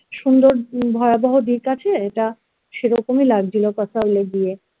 সুন্দর ভয়াবহ দিক আছে যা সেরকম এ লাগছিলো kasol এ গিয়ে